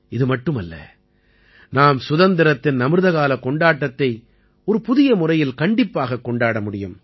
இது மட்டுமல்ல நாம் சுதந்திரத்தின் அமிர்த காலக் கொண்டாட்டத்தை ஒரு புதிய முறையில் கண்டிப்பாகக் கொண்டாட முடியும்